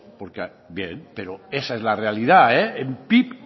bien pero esa es la realidad el pib